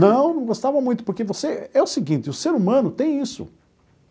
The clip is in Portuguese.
Não, não gostava muito, porque você... É o seguinte, o ser humano tem isso.